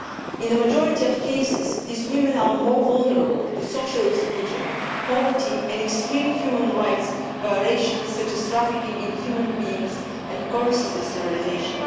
In the majority of cases, these women are more vulnerable to social exclusion, poverty and extreme human rights violations such as trafficking in human beings and courses of sterilisation.